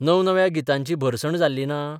नवनव्या गितांची भरसण जाल्ली ना?